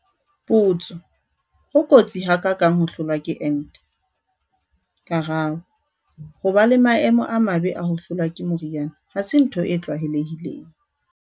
Potso- Ho kotsi ha ka kang ho hlolwa ke ente? Karabo- Ho ba le maemo a mabe a ho hlolwa ke mori ana ha se ntho e tlwaelehileng.